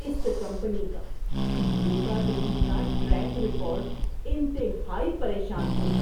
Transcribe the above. اس company کا دھوکہ دہی کا ٹریک ریکارڈ انتہائی پریشان کن ہے۔